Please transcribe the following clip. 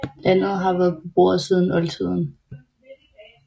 Landet har været beboet siden oldtiden